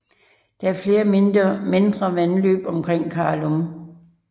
Der er flere mindre vandløb omkring Karlum